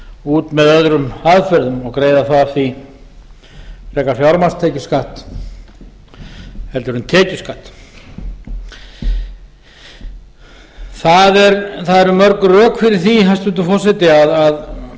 út með öðrum aðferðum og greiða þá af því frekar fjármagnstekjuskatt en tekjuskatt það erum mörg rök fyrir því hæstvirtur forseti að